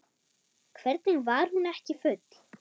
Hvernig var hún ekki full?